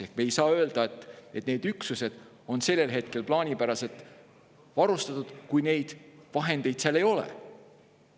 Ehk me ei saa öelda, et need üksused on sellel hetkel plaanipäraselt varustatud, kui neid vahendeid seal ei ole.